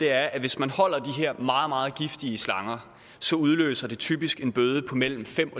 er at hvis man holder de her meget meget giftige slanger så udløser det typisk en bøde på mellem fem